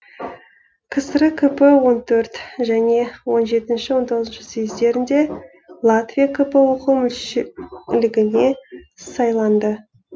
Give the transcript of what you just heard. кср кп он төрт және он жетінші он тоғызыншы съездерінде латвия кп ок мүшелігіне сайланды